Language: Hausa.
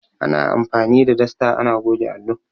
Ana anfani da dasta ana goge allo.